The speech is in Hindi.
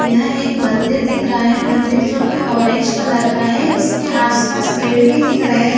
यहाँ एक मंदिर दिख रहा है मन्दिर जो की ओरेंज कलर का है इसके आस पास पेड़ भी दिख रहे है।